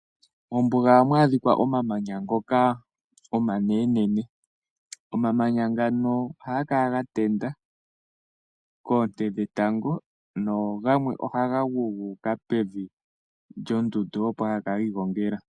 Mombuga ohamu adhika omamanya ngoka omanenenene. Omamanya ngano ohaga kala ga tenda koonte dhetango, nogamwe ohaga gu, gu uka pevi lyondundu, opo haga kala gi igongela.